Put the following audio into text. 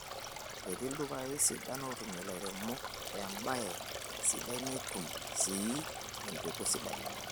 Etii ildukai sidain ootumie lairemok empoea sidai netum siis empeku sidai